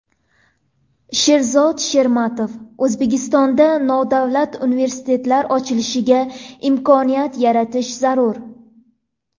Sherzod Shermatov: O‘zbekistonda nodavlat universitetlar ochilishiga imkoniyat yaratish zarur.